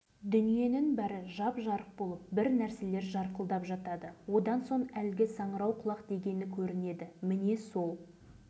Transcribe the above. сол жерден қазіргі қаласын салды жылдан бастап атом сынағын өз көзімізбен көре бастадық біраздан кейін